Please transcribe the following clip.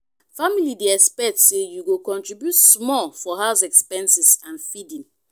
family dey expect say you go contribute small for house expenses and feeding.